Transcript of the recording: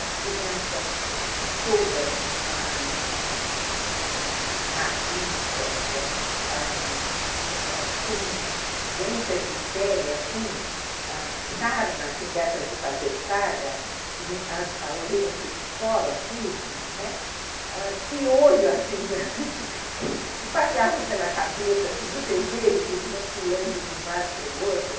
as crianças todas ãh ãh raquíticas, ãh ãh ãh com doenças de pele, assim, sarna, dessas de fazer chaga, e a a orelha que descola aqui, piolho, que passeavam pela cabeça, você vê ele pulando de um lado para o outro.